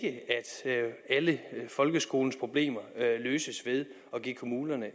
alle folkeskolens problemer løses ved at give kommunerne